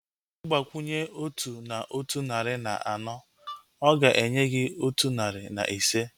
Ịgbakwunye otu na otu narị na anọ, ọ ga-enye gị otu narị na ise